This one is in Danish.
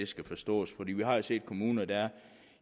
skal forstås vi har jo set kommuner der er